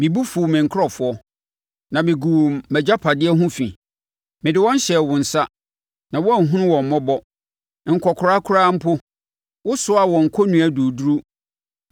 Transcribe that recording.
Me bo fuu me nkurɔfoɔ, na meguu mʼagyapadeɛ ho fi; mede wɔn hyɛɛ wo nsa, na woanhunu wɔn mmɔbɔ. Nkɔkoraa koraa mpo wosoaa wɔn kɔnnua duruduru.